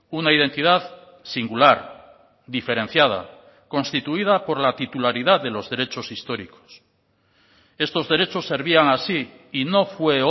una identidad singular diferenciada constituida por la titularidad de los derechos históricos estos derechos servían así y no fue